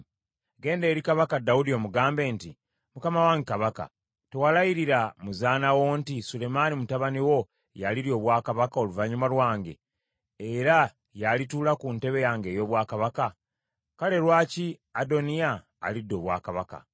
Genda eri Kabaka Dawudi, omugambe nti, ‘Mukama wange Kabaka, tewalayirira muzaana wo nti, Sulemaani mutabani wo y’alirya obwakabaka oluvannyuma lwange, era y’alituula ku ntebe yange ey’obwakabaka? Kale lwaki Adoniya alidde obwakabaka?’